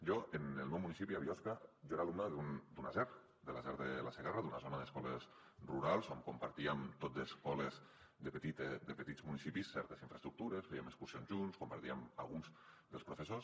jo en el meu municipi a biosca era alumne d’una zer de la zer de la segarra d’una zona d’escoles rurals on compartíem tot d’escoles de petits municipis certes infraestructures fèiem excursions junts compartíem alguns dels professors